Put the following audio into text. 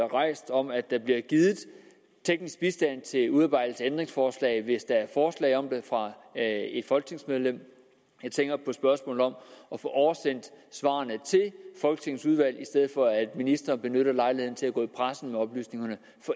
rejst om at der bliver givet teknisk bistand til udarbejdelse af ændringsforslag hvis der er forslag om det fra et folketingsmedlem jeg tænker på spørgsmålet om at få oversendt svarene til folketingets udvalg i stedet for at ministre benytter lejligheden til at gå i pressen med oplysningerne